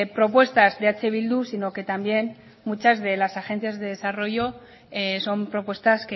propuestas de eh bildu sino que también muchas de las agencias de desarrollo son propuestas